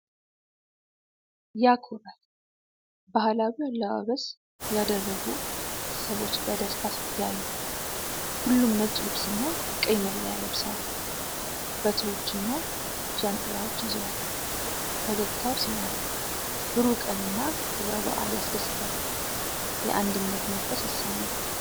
ያኮራል! ባህላዊ አለባበስ ያደረጉ ሰዎች በደስታ ሲተያዩ! ሁሉም ነጭ ልብስና ቀይ መለያ ለብሰዋል። በትሮችና ጃንጥላዎች ይዘዋል። ፈገግታው ሲማርክ! ብሩህ ቀንና ክብረ በዓል ያስደስታል። የአንድነት መንፈስ ይሰማል።